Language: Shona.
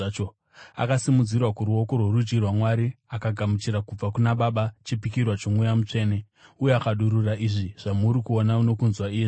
Akasimudzirwa kuruoko rworudyi rwaMwari, akagamuchira kubva kuna Baba chipikirwa choMweya Mutsvene uye akadurura izvi zvamuri kuona nokunzwa iye zvino.